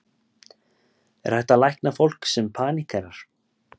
Er hægt að lækna fólk sem paníkerar?